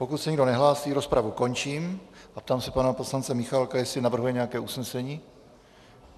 Pokud se nikdo nehlásí, rozpravu končím a ptám se pana poslance Michálka, jestli navrhuje nějaké usnesení.